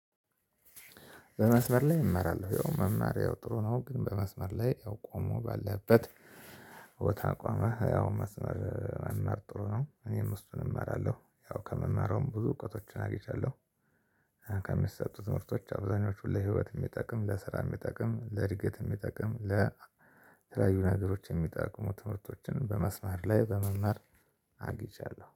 በመስመር ላይ እመራለሁ። ያው መማር ያው ጥሩ ነው። ግን በመስመር ላይ ያው ቆሞ ባለህበት ቦታ ቆመ ያው መስመር መማር ጥሩ ነው። እኔም ውስጡን እመራለሁ። ያው ከመማሩም ብዙ እውቀቶችን አግኝቻለሁ። ከሚሰጡት ትምህርቶች አብዛኞቹን ለህይወት የሚጠቅም፣ ለስራ የሚጠቅም፣ ለእድገት የሚጠቅም፣ ለተለያዩ ነገሮች የሚጠቅሙ ትምህርቶችን በመስመር ላይ በመማር አግኝቻለሁ።